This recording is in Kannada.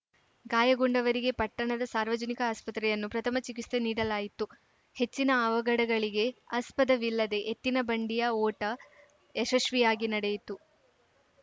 ಗಾಯಗೊಂಡವರಿಗೆ ಪಟ್ಟಣದ ಸಾರ್ವಜನಿಕ ಆಸ್ಪತ್ರೆಯನ್ನು ಪ್ರಥಮ ಚಿಕಿತ್ಸೆ ನೀಡಲಾಯಿತು ಹೆಚ್ಚಿನ ಅವಘಡಗಳಿಗೆ ಆಸ್ಪದವಿಲ್ಲದೇ ಎತ್ತಿನ ಬಂಡಿಯ ಓಟ ಯಶಸ್ವಿಯಾಗಿ ನಡೆಯಿತು